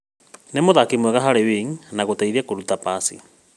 No nĩ mũthaki mwega harĩ wing’i na gũteithia kũruta pasi